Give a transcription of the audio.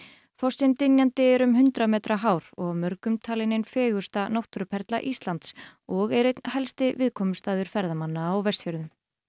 fossinn dynjandi er um hundrað metra hár og af mörgum talinn ein fegursta náttúruperla Íslands og er einn helsti viðkomustaður ferðamanna á Vestfjörðum